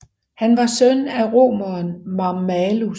Han var søn af romeren Mammalus